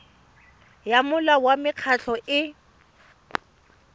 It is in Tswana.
ya molao wa mekgatlho e